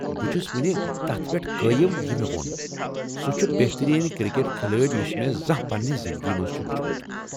بہٕ چھُس وُنہِ تتھ پیٹھ قٲیم یہِ مے٘ وو٘ن ،سُہ چُھ بہتٔریٖن کرکٹ کھلٲڑۍ یُس مےٚ زانہہ پنٛنہِ زنٛدگی منٛز چُھ وُچھمُت ۔